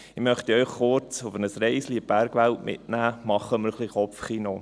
Machen wir ein wenig Kopfkino.